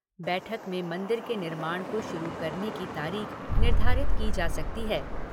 बैठक में मंदिर के निर्माण को शुरू करने की तारीख निर्धारित की जा सकती है।